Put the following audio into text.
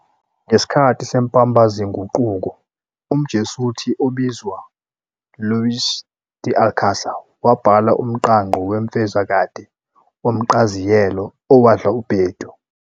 Ngesikhathi semPambaziNguquko, umJesuthi obizwa Luis de Alcasar wabhala umqangqo wemfezokade womqaziyelo owadlubhedu.